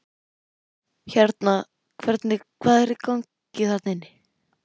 Hérna hvernig, hvað er í gangi þarna inni?